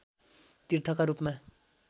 तीर्थका रूपमा